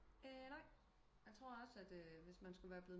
Ehh nej jeg tror også hvis man skulle være blevet